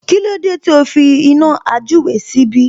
Kílódé tí o fi iná àjúre síbí?